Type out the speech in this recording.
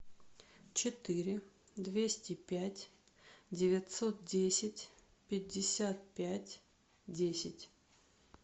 четыре двести пять девятьсот десять пятьдесят пять десять